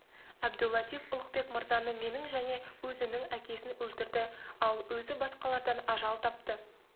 әбду-латиф ұлықбек мырзаны менің және өзінің әкесін өлтірді ал өзі басқалардан ажал тапты